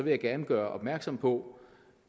jeg gerne gøre opmærksom på